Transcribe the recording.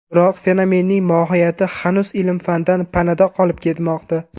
Biroq fenomenning mohiyati hanuz ilm-fandan panada qolib kelmoqda.